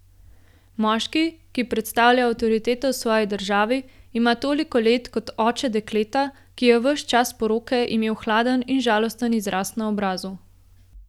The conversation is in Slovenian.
Moški, ki predstavlja avtoriteto v svoji državi, ima toliko let kot oče dekleta, ki je ves čas poroke imelo hladen in žalosten izraz na obrazu.